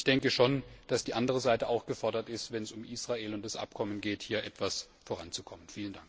Ich denke schon, dass die andere Seite auch gefordert ist, wenn es um Israel und das Abkommen geht, hier etwas voranzukommen.